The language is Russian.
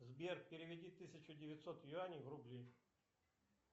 сбер переведи тысячу девятьсот юаней в рубли